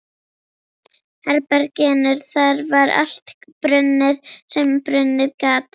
herberginu, þar var allt brunnið sem brunnið gat.